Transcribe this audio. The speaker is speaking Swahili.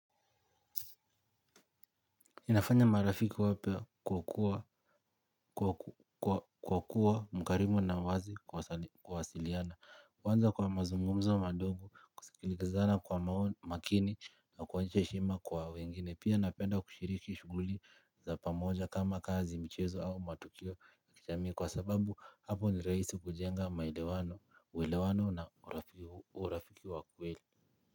Inafanya marafiki wape kwa kuwa mkarimu na wazi kuwasiliana. Kwanza kwa mazumumzo madogo, kusikizana kwa makini na kuonyesha heshima kwa wengine. Pia napenda kushiriki shughuli za pamoja kama kazi michezo au matukio. Kwa sababu hapo ni rahisi kujenga uelewano na urafiki wa kweli.